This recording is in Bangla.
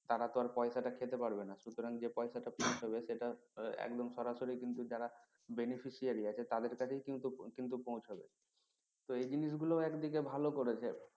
তারা তো আর পয়সাটা খেতে পারবে না সুতরাং যে পয়সাটা fix হবে সেটা একদম সরাসরি কিন্তু যারা benificiary আছে তাদের কাছেই কিন্তু কিন্তু পৌঁছাবে তো এই জিনিসগুলো ও একদিকে ভালো করেছে